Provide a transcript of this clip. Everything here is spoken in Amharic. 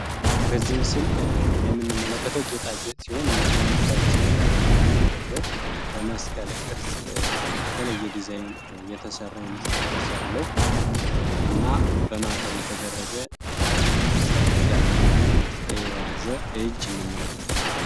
በዚህ ምስል የምንመለከተው ጌጣጌጥ ሲሆን እንግዲህ በአንገታችን የምናደርገው በመስቀል ቅርፅ የተለየ ዲዛይን የተሰራ የመስቀል ቅርፅ ያለው እና እና በማተብ የተደረገ የመስቀል ቅርፅ ያለውን የያዘ እጅ የያዘ እጅ እንመለከታለን።